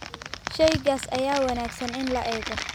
Shaygaas ayaa wanaagsan in la eego